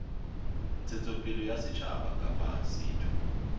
ntshetsopele ya setjhaba kapa setho